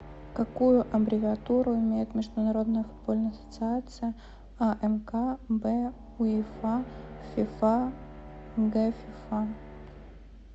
какую аббревиатуру имеет международная футбольная ассоциация а мк б уефа в фифа г фифа